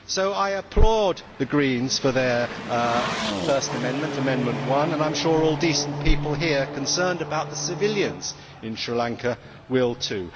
So I applaud the Greens for their first amendment, Amendment 1, and I am sure that all decent people here, concerned about the civilians in Sri Lanka, will too.